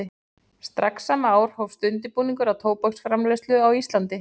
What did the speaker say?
Strax sama ár hófst undirbúningur að tóbaksframleiðslu á Íslandi.